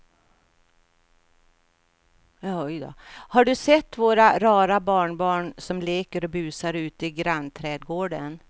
Har du sett våra rara barnbarn som leker och busar ute i grannträdgården!